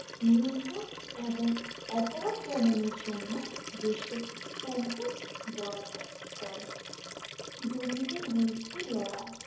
নিয়ন্ত্রণ এবং অপরাধ দমনের জন্য দেশ ও সম্পদ বরাদ্দ করে দুর্নীতির বিরুদ্ধে লড়াই